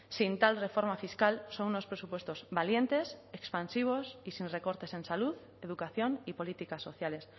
sin tal reforma fiscal son unos presupuestos valientes expansivos y sin recortes en salud educación y políticas sociales